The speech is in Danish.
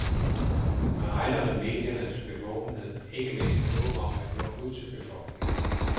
Man regner med mediernes bevågenhed, ikke mindst i håb om at nå ud til befolkningen.